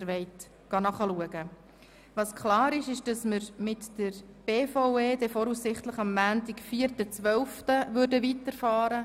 Mit den Geschäften der BVE werden wir voraussichtlich am Montag, den 4. Dezember, weiterfahren.